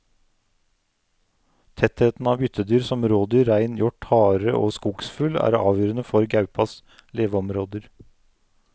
Tettheten av byttedyr som rådyr, rein, hjort, hare og skogsfugl er avgjørende for gaupas leveområder.